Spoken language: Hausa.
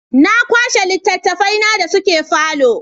Na kwashe littattafaina da suke falo.